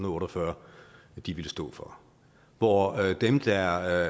otte og fyrre ville stå for hvor dem der